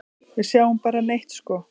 Við sjáum bara neitt sko.